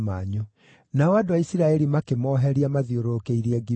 Nao andũ a Isiraeli makĩmoheria mathiũrũrũkĩirie Gibea.